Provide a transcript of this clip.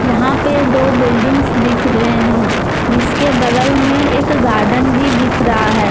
यहां पे दो बिल्डिंग्स दिख रहे हैं जिसके बगल में एक गार्डन भी दिख रहा है।